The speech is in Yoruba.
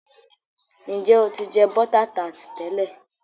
Njẹ o tí jẹ bota tart tẹlẹ?